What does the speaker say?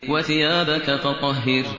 وَثِيَابَكَ فَطَهِّرْ